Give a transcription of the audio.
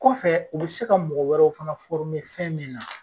Kɔfɛ u b se ka mɔgɔ wɛrɛw fana fɔrme fɛn min na